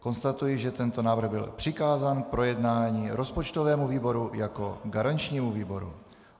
Konstatuji, že tento návrh byl přikázán k projednání rozpočtovému výboru jako garančnímu výboru.